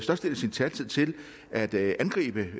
sin taletid til at angribe